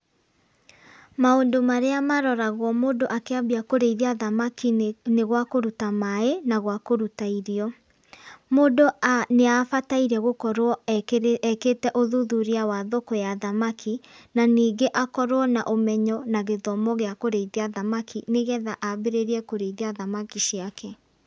Maũndũ marĩa maroragwo mũndũ akĩambia kũrĩithia thamaki ni gwa kũruta maĩ na gwa kũruta irio, mũndũ nĩ abataire gũkorwo ekĩte ũthuthuria wa thoko ya thamaki na ningĩ akorwo na ũmenyo na gĩthomo gĩa kũrĩithia thamaki nĩgetha ambĩrĩrie kũrĩithia thamaki ciake.